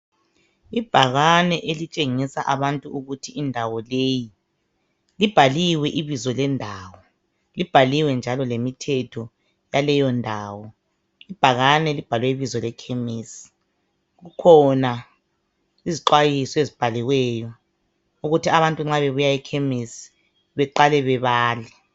Ibhakane elitshengisa abantu ukuthi indawo leyi, ibhaliwe ibizo lendawo ibhaliwe njalo lemithetho yaleyo ndawo. Ibhakane libhalwe ibizo lekhemesi kukhona izixwayiso ezibhaliweyo ukuthi abantu nxa bebuya ekhemesi beqale bebale.